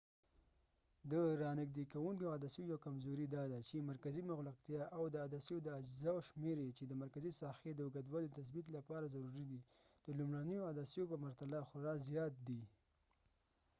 د رانژدې کوونکو عدسیو یو کمزوری داده چی مرکزي مغلقتیا او د عدسیو د اجزاوو شمیر یې چې د مرکزي ساحې د اوږوالي د تثبیت لپاره ضروري دی د لومړنیو عدسیو په پرتله خورا زیات دی